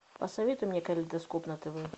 посоветуй мне калейдоскоп на тв